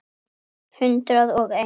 Hundrað og eins.